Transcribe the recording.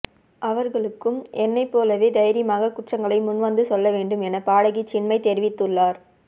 அவர்களும் என்னைப்போலவே தைரியமாக குற்றங்களை முன்வந்து சொல்லவேண்டும் என பாடகி சின்மயி தெரிவித்துள்ளார்